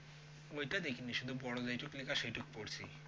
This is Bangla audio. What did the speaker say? ওইটা দেখিনি শুধু বড়ো যেইটুকু লেখা সেইটুকু পরছি